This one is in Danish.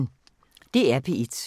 DR P1